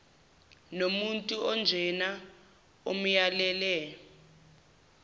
nomuntu onjena amyalele